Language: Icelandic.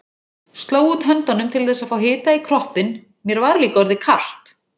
Sló út höndunum til þess að fá hita í kroppinn, mér var líka orðið kalt.